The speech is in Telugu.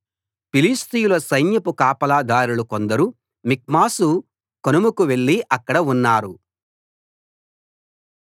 ఫిలిష్తీయుల సైన్యపు కాపలాదారులు కొందరు మిక్మషు కనుమకు వెళ్ళి అక్కడ ఉన్నారు